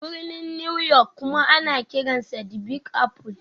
Birnin New York kuma ana kiransa 'The Big Apple'.